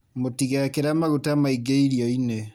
Mũtigekre maguta maingĩ irioinĩ.